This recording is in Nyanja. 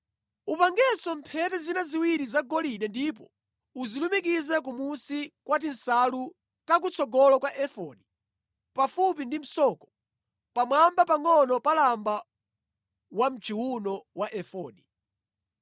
Upangenso mphete zina ziwiri zagolide ndipo uzilumikize kumunsi kwa tinsalu takutsogolo kwa efodi, pafupi ndi msoko, pamwamba pangʼono pa lamba wamʼchiwuno wa efodi.